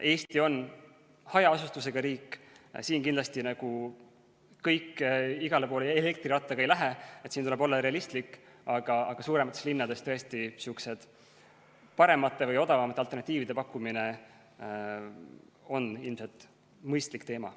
Eesti on hajaasustusega riik, siin kindlasti kõik igale poole elektrirattaga ei lähe, tuleb olla realistlik, aga suuremates linnades tõesti on paremate või odavamate alternatiivide pakkumine ilmselt mõistlik teema.